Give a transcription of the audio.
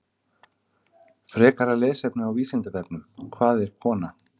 Frekara lesefni á Vísindavefnum: Hvað er kona?